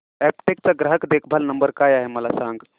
Aptech चा ग्राहक देखभाल नंबर काय आहे मला सांग